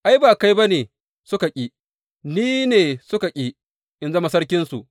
Ai, ba kai ba ne suka ƙi, ni ne suka ƙi in zama sarkinsu.